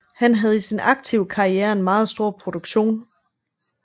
Han havde i sin aktive karriere en meget stor produktion